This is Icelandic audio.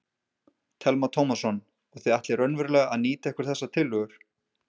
Telma Tómasson: Og þið ætlið raunverulega að nýta ykkur þessar tillögur?